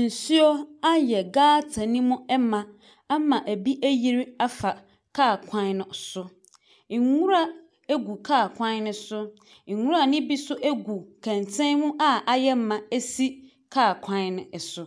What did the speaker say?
Nsuo ayɛ gutter no mu ma ama ɛbi ayiri afa kaa kwan no so. Nwura gu kaa kwan no so. Nwura no bi nso gu kɛntɛn mu a ayɛ ma si kaa kwan no so.